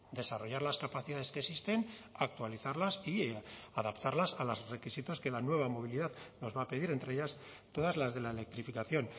desarrollar las capacidades que existen actualizarlas y adaptarlas a los requisitos que la nueva movilidad nos va a pedir entre ellas todas las de la electrificación